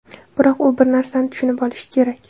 Biroq u bir narsani tushunib olishi kerak.